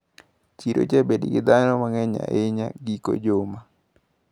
Chiro jabedo gi dhano mang`eny ahinya giko juma.